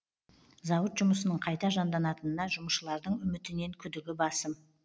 зауыт жұмысының қайта жанданатынына жұмысшылардың үмітінен күдігі басым